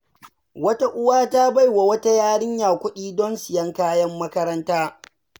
Wata uwa ta bai wa wata yarinya kuɗi don siyan kayan makaranta.